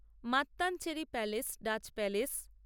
Mattancherry palace Dutch palace